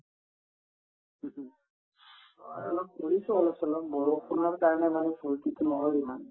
হয় ফুৰিছো অলপ-চলপ বৰষুণৰ কাৰণে মানে ফূৰ্তিতো নহল ইমান